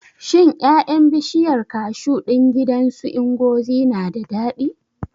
Shin ƴaƴan bishiyar kashu ɗin gidan su Ngozi na da daɗi?